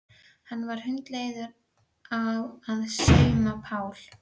Hann var hundleiður á að sauma Pál.